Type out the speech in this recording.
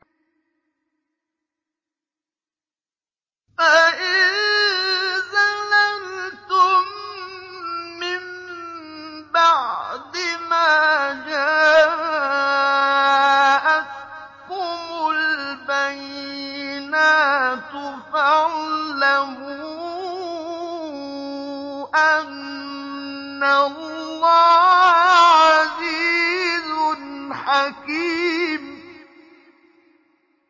فَإِن زَلَلْتُم مِّن بَعْدِ مَا جَاءَتْكُمُ الْبَيِّنَاتُ فَاعْلَمُوا أَنَّ اللَّهَ عَزِيزٌ حَكِيمٌ